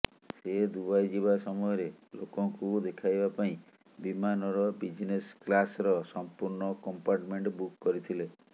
ସେ ଦୁବାଇ ଯିବା ସମୟରେ ଲୋକଙ୍କୁ ଦେଖାଇବା ପାଇଁ ବିମାନର ବିଜ୍ନେସ୍ କ୍ଲାସ୍ର ସମ୍ପୂର୍ଣ୍ଣ କମ୍ପାର୍ଟମେଣ୍ଟ ବୁକ୍ କରିଥିଲେ